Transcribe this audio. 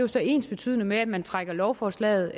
så er ensbetydende med at man trækker lovforslaget